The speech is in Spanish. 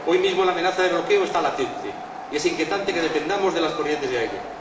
Hoy mismo la amenaza de bloqueo está latente y es inquietante que dependamos de las corrientes de aire.